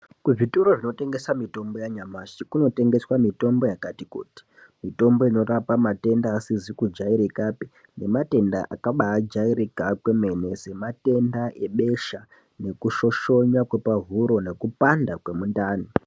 Kuzvitoro zvinotengese mitombo yanyamashi kunotengeswe mitombo yakati kuti mitombo inorapa matenda asizi kujairikapi nematenda akajairika kwemene sematenda ebesha, nekushoshona kwepahuro nekupanda kwemuntani.